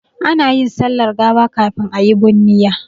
Ana yin sallar gawa kafin a yi bunniya.